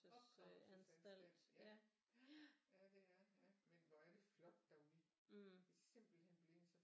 Opdragelsesanstalt ja ja det er men hvor er det flot derude det er simpelthen blevet så